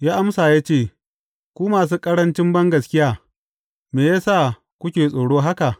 Ya amsa ya ce, Ku masu ƙarancin bangaskiya, me ya sa kuke tsoro haka?